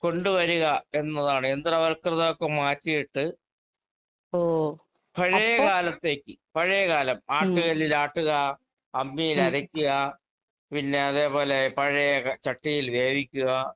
കൊണ്ട് വരിക എന്നതാണ്. യന്ത്രവല്‍കൃതോക്കെ മാറ്റിയിട്ട് പഴയ കാലത്തേക്ക് പഴയ കാലം ആട്ടുകല്ലിൽ ആട്ടുക, അമ്മിയിൽ അരയ്ക്കുക. പിന്നെ അതേ പോലെ പഴയ ക ചട്ടിയിൽ വേവിക്കുക